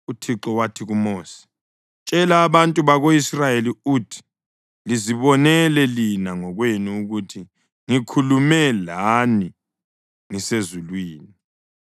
UThixo wathi kuMosi, “Tshela abantu bako-Israyeli uthi, ‘Lizibonele lina ngokwenu ukuthi ngikhulume lani ngisezulwini.